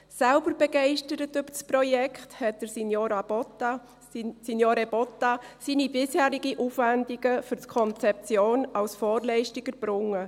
Selbst begeistert über das Projekt, hat Signore Botta seine bisherigen Aufwendungen für die Konzeption als Vorleistung erbracht.